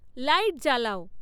light জ্বালাও